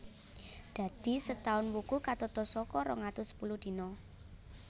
Dadi setaun wuku katata saka rong atus sepuluh dina